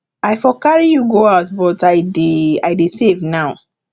i for carry you go out but i dey i dey save now